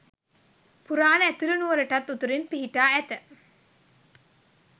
පුරාණ ඇතුළු නුවරටත් උතුරින් පිහිටා ඇත